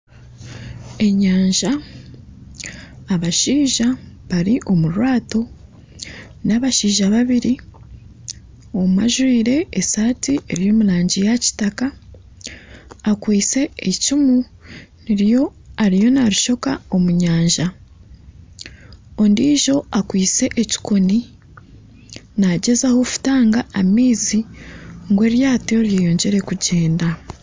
Enyanja abashaija bari omu rwato, n'abashiaija babiri. Omwe ajwaire esaati eri omu rangi ya kitaaka. Akwaitse eicumu niryo ariyo narishoka omu nyanja, ondiijo ariyo akwitse ekikoni naagyezaho kutanga amaizi ngu eryato ryeyongyere kugyenda.